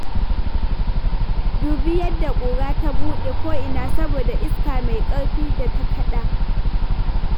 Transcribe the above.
Dubi yadda ƙura ta buɗe ko'ina saboda iska mai ƙarfi da ta kaɗa.